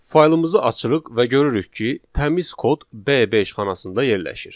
Faylımızı açırıq və görürük ki, təmiz kod B5 xanasında yerləşir.